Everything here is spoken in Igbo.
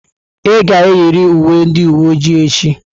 Ị ga-eyiri uwe ndị uwe ojii echi!